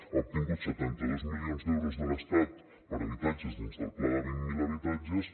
ha obtingut setanta dos milions d’euros de l’estat per habitatges dins del pla de vint mil habitatges